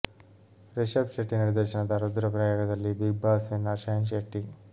ರಿಷಭ್ ಶೆಟ್ಟಿ ನಿರ್ದೇಶನದ ರುದ್ರ ಪ್ರಯಾಗದಲ್ಲಿ Bigg Boss winner Shine Shetty